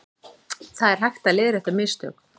Það er hægt að leiðrétta mistök